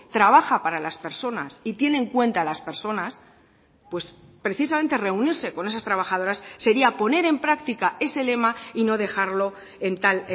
trabaja para las personas y tiene en cuenta a las personas pues precisamente reunirse con esas trabajadoras sería poner en práctica ese lema y no dejarlo en tal